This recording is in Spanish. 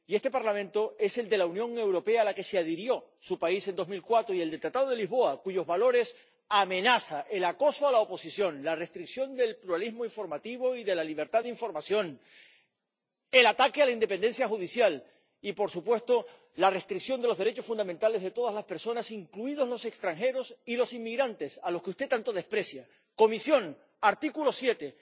Y este Parlamento es el de la Unión Europea, a la que se adhirió su país en 2004, y el del Tratado de Lisboa, cuyos valores amenaza el acoso a la oposición, la restricción del pluralismo informativo y de la libertad de información, el ataque a la independencia judicial y, por supuesto, la restricción de los derechos fundamentales de todas las personas, incluidos los extranjeros y los inmigrantes a los que usted tanto desprecia. La Comisión debe activar el artículo 7